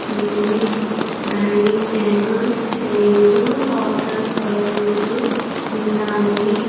ఉంది dining tables chair water బాటిళ్లు ఉన్నాయి.